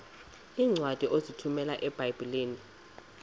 iincwadi ozithumela ebiblecor